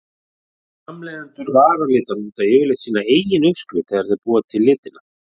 Framleiðendur varalita nota yfirleitt sína eigin uppskrift þegar þeir búa til litina.